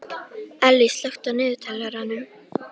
Ellý, slökktu á niðurteljaranum.